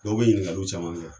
Dɔw bɛ ɲininkaliw caman kɛ.